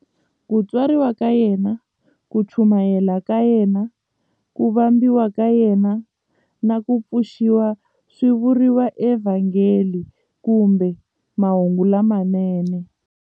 Ku tswariwa ka yena, ku chumayela ka yena, ku vambiwa ka yena, na ku pfuxiwa swi vuriwa eVhangeli kumbe"Mahungu lamanene".